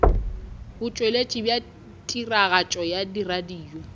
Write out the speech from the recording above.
botšweletši bja tiragatšo ya radio